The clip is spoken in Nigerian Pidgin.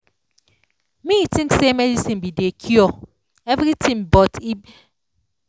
me think say medicine bi dey cure everything but e be be like say d drug no dey commot all d kokoro wey common